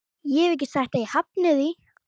Ég hef ekki sagt að ég hafni því.